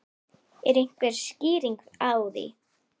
Er einhver skýring á því?